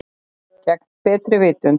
Gegn betri vitund.